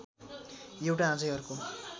एउटा अझै अर्को